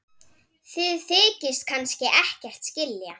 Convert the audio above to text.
Þið þykist kannski ekkert skilja?